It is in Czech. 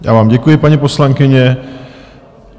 Já vám děkuji, paní poslankyně.